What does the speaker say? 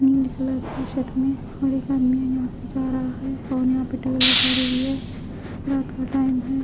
Pink colour के shirt में और एक आदमी यहा से जा रहा है और यहा पे खड़ी हुई है रात का टाइम है।